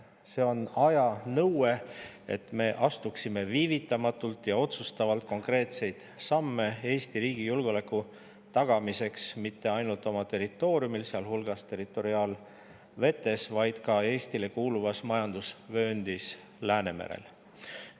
See on aja nõue, et me astuksime viivitamatult ja otsustavalt konkreetseid samme Eesti riigi julgeoleku tagamiseks mitte ainult oma territooriumil, sealhulgas territoriaalvetes, vaid ka Eestile kuuluvas majandusvööndis Läänemerel.